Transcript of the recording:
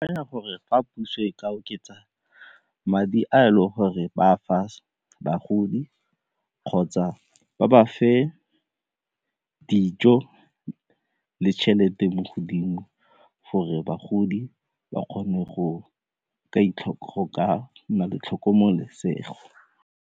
Akanya gore fa puso e ka oketsa madi a e le gore ba a fa bagodi kgotsa ba bafe dijo le tšhelete mo godimo gore bagodi ba kgone go ka nna le tlhokomelesego.